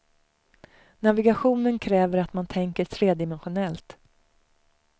Navigationen kräver att man tänker tredimensionellt.